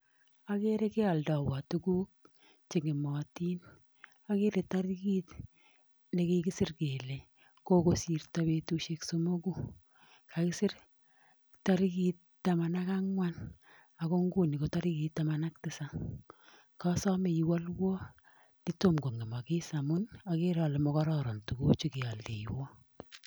Agere kealdaiwa tuguuk cheng'ematin akere tarikit nekikisir kele Koko sirto petushek somoku kakiser tarikit taman ak angwan ako nguni ko tarikit taman ak tisapu kasame iwalwa netomko ng'emakis amun akere ale makararon tukuchu kealdaiwa